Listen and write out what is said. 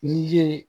N'i ye